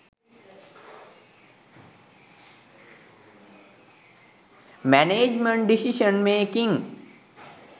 management decision making